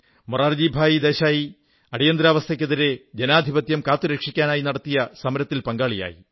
മൊറാർജിഭായി ദേശായി അടിയന്തരാവസ്ഥയ്ക്കെതിരെ ജനാധിപത്യം കാത്തുരക്ഷിക്കാനായി നടത്തിയ സമരത്തിൽ പങ്കാളിയായി